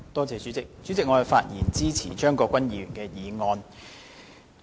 主席，我發言支持張國鈞議員的議案。